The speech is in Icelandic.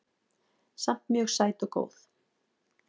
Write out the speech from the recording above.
Samt mjög sæt og góð